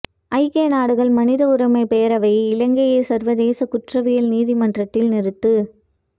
ஐக்கிய நாடுகள் மனித உரிமைப் பேரவையே இலங்கையை சர்வதேச குற்றவியல் நீதிமன்றத்தில் நிறுத்து